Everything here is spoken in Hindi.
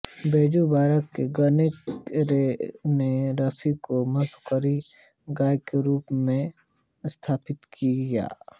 बैजू बावरा के गानों ने रफ़ी को मुख्यधारा गायक के रूप में स्थापित किया